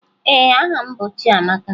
Ee, aha m bụ Chiamaka